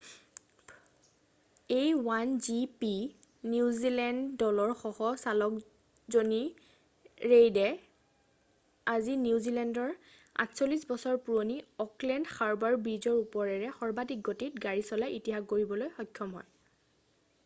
a1gp New Zealand দলৰ সহ চালক জনী ৰেইডে আজি নিউ জীলেণ্ডৰ 48 বছৰ পুৰণি অ'কলেণ্ড হাৰ্বাৰ ব্ৰিজৰ ওপৰেৰে সৰ্বাধিক গতিত গাড়ি চলাই ইতিহাস গঢ়িবলৈ সক্ষম হয়